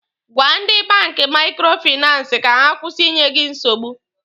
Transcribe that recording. Gwa ndị banki maikrofinansi ka ha kwụsị ịnye gị nsogbu!